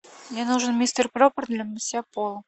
мне нужен мистер пропер для мытья пола